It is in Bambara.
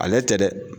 Ale tɛ dɛ